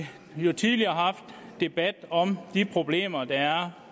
vi tidligere haft en debat om de problemer der er